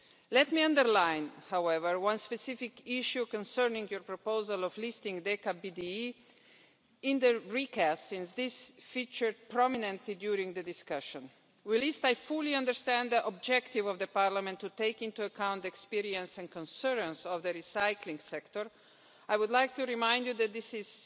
Let me underline, however, one specific issue concerning your proposal of listing decaBDE in the recast, since this featured prominently during the discussion. While I fully understand the objective of Parliament to take into account the experience and concerns of the recycling sector, I would like to remind you that it is